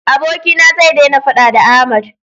abokina zai dena faɗa da Ahmad